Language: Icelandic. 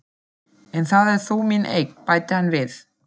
En það er þó mín eign, bætti hann við.